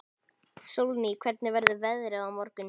Sólný, hvernig verður veðrið á morgun?